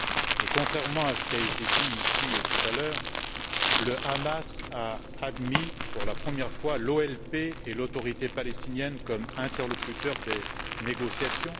Et contrairement a ce qui a été dit ici tout à l'heure, le Hamas a admis, pour la première fois, l'OLP et l'Autorité palestinienne comme interlocuteurs des négociations.